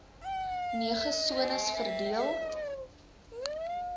nege sones verdeel